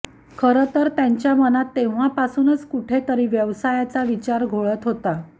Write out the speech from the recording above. खरं तर त्यांच्या मनात तेव्हापासूनच कुठे तरी व्यवसायाचा विचार घोळत होता